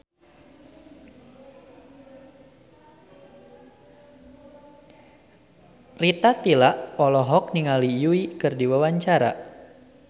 Rita Tila olohok ningali Yui keur diwawancara